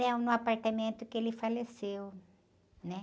Então no apartamento que ele faleceu, né?